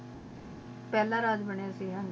ਫਲਾ ਰਾਜ ਬਨਯ ਸੇ ਗਾ